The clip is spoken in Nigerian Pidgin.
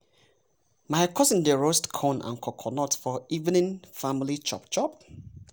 my cousin dey roast corn and coconut for evening family chop chop.